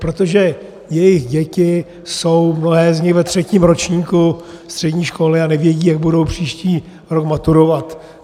Protože jejich děti jsou, mnohé z nich, ve třetím ročníku střední školy a nevědí, jak budou příští rok maturovat.